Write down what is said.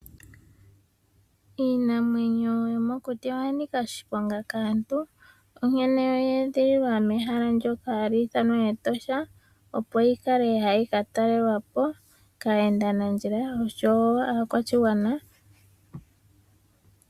Iinamwenyo yomokuti oyanika oshiponga kaantu, onkene oyeedhililwa mehala ndyoka hali ithanwa Etosha opo yikale hayi katalelwa po kaayenda nandjila oshowo kaakwashigwana.